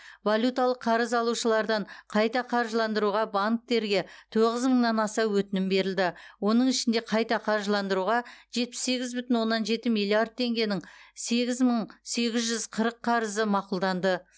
валюталық қарыз алушылардан қайта қаржыландыруға банктерге тоғыз мыңнан аса өтінім берілді оның ішінде қайта қаржыландыруға жетпіс сегіз бүтін оннан жеті миллиард теңгенің сегіз мың сегіз жүз қырық қарызы мақұлданды